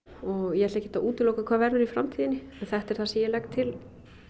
ég ætla ekkert að útiloka hvað verður í framtíðinni þetta er það sem ég legg til